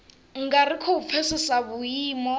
nga ri khou pfesesa vhuimo